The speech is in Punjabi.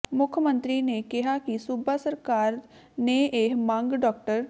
ਮੁੱਖ ਮੰਤਰੀ ਨੇ ਕਿਹਾ ਕਿ ਸੂਬਾ ਸਰਕਾਰ ਨੇ ਇਹ ਮੰਗ ਡਾ